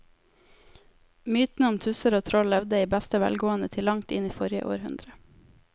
Mytene om tusser og troll levde i beste velgående til langt inn i forrige århundre.